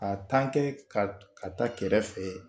A tan kɛ ka ta kɛrɛfɛ